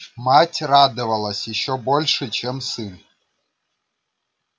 мать радовалась ещё больше чем сын